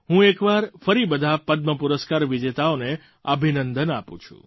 હું એક વાર ફરી બધા પદ્મ પુરસ્કાર વિજેતાઓને અભિનંદન આપું છું